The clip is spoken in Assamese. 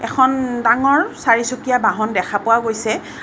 এখন ডাঙৰ চাৰিচকীয়া বহন দেখা পোৱা গৈছে।